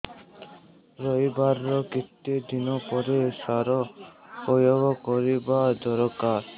ରୋଈବା ର କେତେ ଦିନ ପରେ ସାର ପ୍ରୋୟାଗ କରିବା ଦରକାର